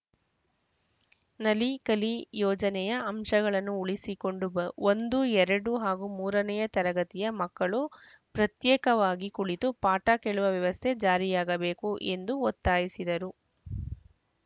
ನಲಿ ಕಲಿ ಯೋಜನೆಯ ಅಂಶಗಳನ್ನು ಉಳಿಸಿಕೊಂಡು ಬ ಒಂದು ಎರಡು ಹಾಗೂ ಮೂರನೆಯ ತರಗತಿಯ ಮಕ್ಕಳು ಪ್ರತ್ಯೇಕವಾಗಿ ಕುಳಿತು ಪಾಠ ಕೇಳುವ ವ್ಯವಸ್ಥೆ ಜಾರಿಯಾಗಬೇಕು ಎಂದು ಒತ್ತಾಯಿಸಿದರು